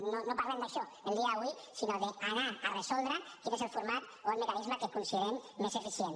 no parlem d’això el dia d’avui sinó d’anar a resoldre quin és el format o el mecanisme que considerem més eficient